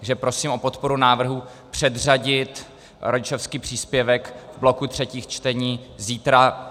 Takže prosím o podporu návrhu předřadit rodičovský příspěvek v bloku třetích čtení zítra.